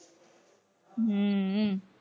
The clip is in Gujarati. હમ